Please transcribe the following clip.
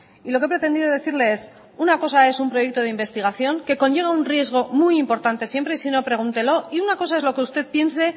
y lo que he pretendido decirle es una cosa es un proyecto de investigación que conlleva un riesgo muy importante siempre y sino pregúntelo y una cosa es lo que usted piense